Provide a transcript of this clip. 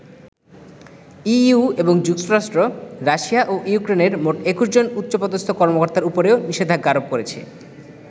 EU এবং যুক্তরাষ্ট্র Russia ও ইউক্রেনের মোট ২১ জন উচ্চপদস্থ কর্মকর্তার উপরেও নিষেধাজ্ঞা আরোপ করেছে।